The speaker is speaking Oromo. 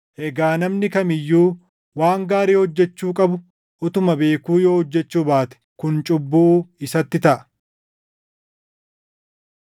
Egaa namni kam iyyuu waan gaarii hojjechuu qabu utuma beekuu yoo hojjechuu baate kun cubbuu isatti taʼa.